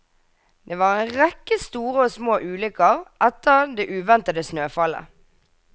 Det var en rekke store og små ulykker etter det uventede snøfallet.